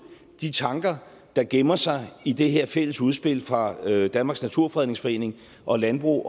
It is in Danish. de tanker der gemmer sig i det her fælles udspil fra danmarks naturfredningsforening og landbrug